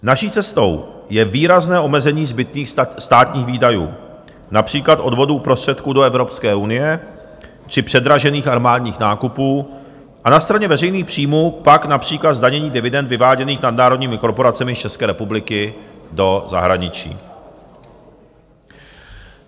Naší cestou je výrazné omezení zbytných státních výdajů, například odvodů prostředků do Evropské unie či předražených armádních nákupů a na straně veřejných příjmů pak například zdanění dividend vyváděných nadnárodními korporacemi z České republiky do zahraničí.